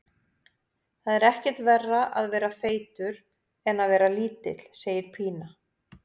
Það er ekkert verra að vera feitur en að vera lítill, segir Pína.